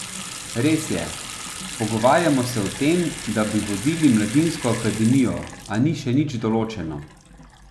Res je, pogovarjamo se o tem, da bi vodil mladinsko akademijo, a ni še nič določeno.